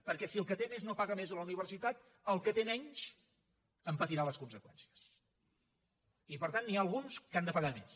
perquè si el que té més no paga més a la universitat el que té menys en patirà les conseqüències i per tant n’hi ha alguns que han de pagar més